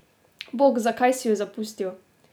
Bog, zakaj si ju zapustil?